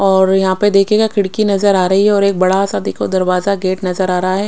और यहां पे देखेगा खिड़की नजर आ रही है और एक बड़ा सा देखो दरवाजा गेट नजर आ रहा है।